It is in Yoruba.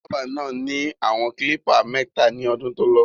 Bábà náà ni àwọn klípà mẹ́ta lọ́dún tolọ.